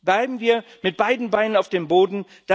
Bleiben wir mit beiden Beinen auf dem Boden!